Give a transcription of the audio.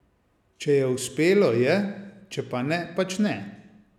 Če je uspelo, je, če pa ne, pač ne.